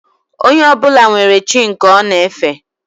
Onye ọbụla nwere chi nke ọ na efe